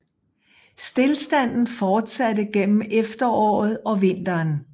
Stilstanden fortsatte gennem efteråret og vinteren